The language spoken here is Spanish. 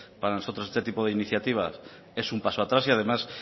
para nosotros este tipo de iniciativa es un paso a atrás y además